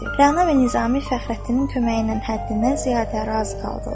Rəna və Nizami Fəxrəddinin köməyi ilə həddindən ziyadə razı qaldılar.